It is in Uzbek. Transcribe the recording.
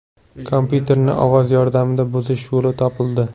Kompyuterni ovoz yordamida buzish yo‘li topildi.